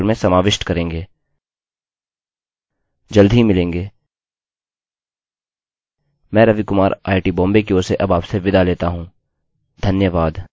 जल्द ही मिलेंगे! मैं रवि कुमार आईआईटीबॉम्बे की ओर से अब आपसे विदा लेता हूँ धन्यवाद